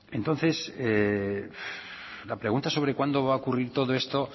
entonces la pregunta sobre cuándo va a ocurrir todo esto